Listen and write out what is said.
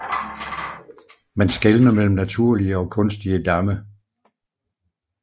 Man skelner mellem naturlige og kunstige damme